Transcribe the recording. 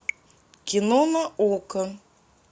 кино на окко